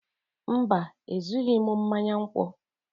mba, Ezughị m mmanya nkwụ